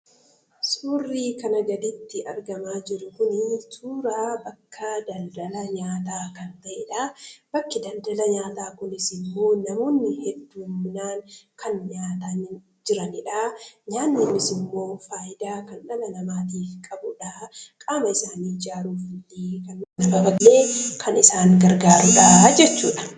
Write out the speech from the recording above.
Suurri kanaa gaditti argamaa jiru kun, suuraa bakka daldalaa nyaata kan ta'edha. bakki daldala nyaata kunis immo namoonni heddumminaan kan nyaataa jiraanidha. nyaanni kunis immo faayidaa dhala namaatiif qabudha. Qaama isaanii ijaaruudhaaf kan isaan gargaarudha jechuudha.